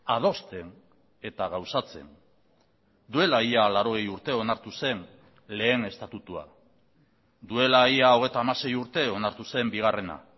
adosten eta gauzatzen duela ia laurogei urte onartu zen lehen estatutua duela ia hogeita hamasei urte onartu zen bigarrena